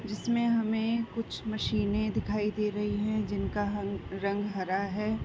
जिसमे हमें कुछ मशीने दिखाई दे रही हैं जिनका हंग रंग हरा हैं।